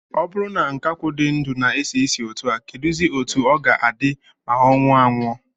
O buru na nkakwu di ndu na-esi isi otu a, keduzi otu o ga-adi ma o nwuo anwu?